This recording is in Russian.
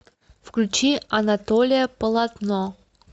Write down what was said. включи анатолия полотно